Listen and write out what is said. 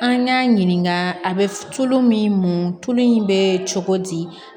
An y'a ɲininka a bɛ tulu min muɲu tulu in bɛ cogo di